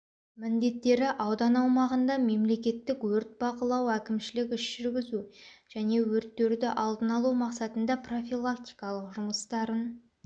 міндеттері аудан аумағында мемлекеттік өрт бақылау әкімшілік іс-жүргізу және өрттерді алдын алу мақсатында профилактикалық жұмыстарын